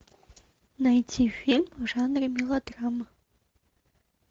найти фильм в жанре мелодрама